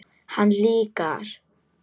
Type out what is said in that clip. Hann líka.